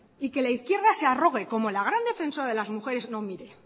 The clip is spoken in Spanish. y que la izquierda se arrogue como el gran defensor de las mujeres no mire